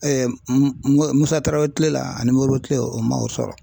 Musa Tarawele kile la ani Moribo kile la o man o sɔrɔ.